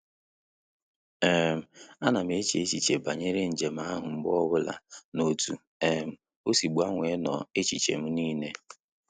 um A na m eche echiche banyere njem ahụ mgbe ọbụla na otu um osi gbanwee nno echiche m n'ile